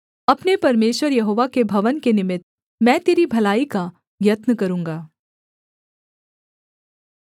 अपने परमेश्वर यहोवा के भवन के निमित्त मैं तेरी भलाई का यत्न करूँगा